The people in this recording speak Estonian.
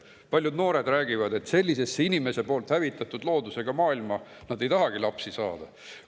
Paljud noored räägivad, et sellisesse inimese poolt hävitatud loodusega maailma nad ei tahagi lapsi.